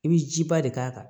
I bɛ jiba de k'a kan